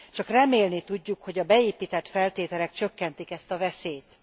Csak remélni tudjuk, hogy a beépített feltételek csökkentik ezt a veszélyt.